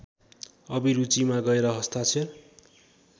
अभिरूचिमा गएर हस्ताक्षर